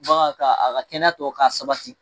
Bagan ka a ka kɛnɛya tɔ k'a sabati.